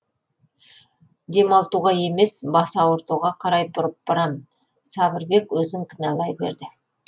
демалтуға емес бас ауыртуға қарай бұрып барам сабырбек өзін кінәлай берді